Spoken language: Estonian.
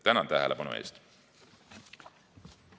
Tänan tähelepanu eest!